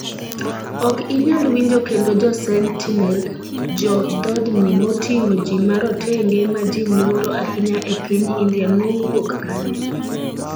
Ok inyal winjo kendo Jo Sentinel: Jo dhodni moting'o ji marotenge ma ji luoro ahinya e piny India nowuok kanye?